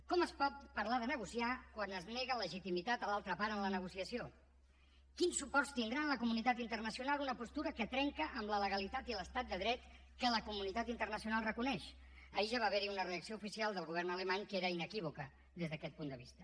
com es pot parlar de negociar quan es nega legitimitat a l’altra part en la negociació quins suports tindrà en la comunitat internacional una postura que trenca amb la legalitat i l’estat de dret que la comunitat internacional reconeix ahir ja va haverhi una reacció oficial del govern alemany que era inequívoca des d’aquest punt de vista